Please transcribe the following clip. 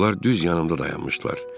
Onlar düz yanımda dayanmışdılar.